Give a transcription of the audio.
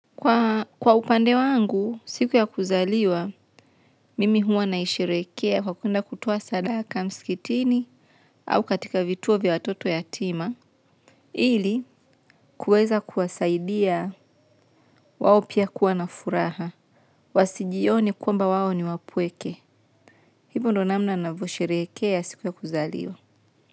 Kwa upande wangu, siku ya kuzaliwa, mimi huwa naisherehekea kwa kuenda kutoa sadaka msikitini au katika vituo vya watoto yatima. Ili, kuweza kuwasaidia wao pia kuwa na furaha. Wasijione kwamba wao ni wapweke. Hivo ndo namna navosherehekea siku ya kuzaliwa.